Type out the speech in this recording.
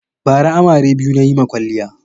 Bara amare biyu na yi ma kwaliya.